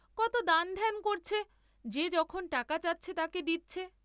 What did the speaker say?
কত দানধ্যান করছে, যে যখন টাকা চাচ্ছে তাকে দিচ্ছে।